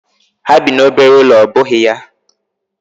Ha bi n'obere ụlọ ọ́ bụghị ya?